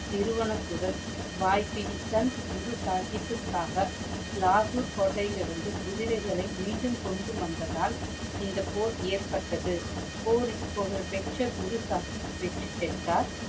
நிறுவனத்துடன் வாய்பிடி சந்த் குரு சாஹிபுக்குகாக லாகூர் கோட்டையிலிருந்து குதிரைகளை மீண்டும் கொண்டு வந்ததால் இந்த போர் ஏற்பட்டது. போரில் புகழ்பெற்ற குரு சாஹிப் வெற்றி பெற்றார்.